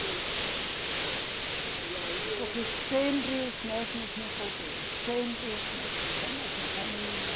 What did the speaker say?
Sim. E aí o. Porque sempre os mesmos no poder, sempre os mesmos, a mesma família.